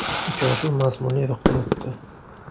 Uchrashuv mazmunli ruhda o‘tdi.